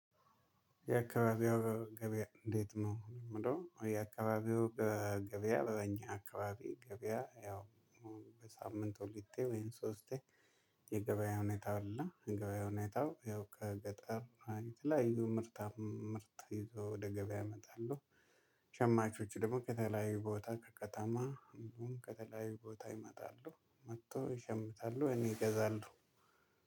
የአካባቢው ገበያ እንዴት ነው? የምለው የአካባቢው ገበያ በእኛ አካባቢ ገበያ ያው በሳምንት ሁለቴ ወይም ሶስቴ የገበያ ሁኔታው ነው። እና የገበያ ሁኔታው ያው ከገጠር አንድ ላይ ይዞ ምርታ ምርት ይዞ ወደ ገበያ ያመጣሉ። ሸማቾች ደግሞ ከተለያዩ ቦታ ከከተማ እንደውም ከተለያዩ ቦታ ይመጣሉ መጥቶ ይሸምታሉ። እኔ እገዛለሁ።